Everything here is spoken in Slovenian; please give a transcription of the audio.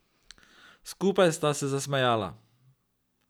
Skupaj sta se zasmejala.